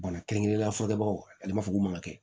Bana kɛrɛnkɛrɛnnenya fɔ kɛbagaw ale b'a fɔ k'u ma kɛ